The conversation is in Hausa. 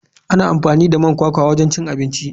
Ana amfani da man kwakwa wajen cin abinci.